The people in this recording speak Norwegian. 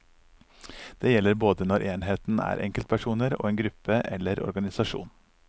Det gjelder både når enheten er enkeltpersoner og en gruppe eller organisasjon.